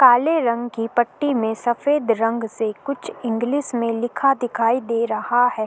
काले रंग की पट्टी में सफेद रंग से कुछ इंग्लिश में लिखा दिखाई दे रहा है।